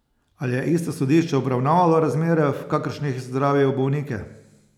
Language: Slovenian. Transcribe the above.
Ali je isto sodišče obravnavalo razmere, v kakršnih zdravijo bolnike?